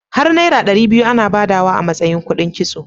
Har naira ɗari biyu ana badawa a matsayina kudin kitso.